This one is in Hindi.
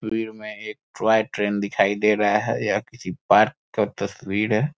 तस्वीर में एक टॉय ट्रेन दिखाई दे रहा है यह किसी पार्क का तस्वीर है।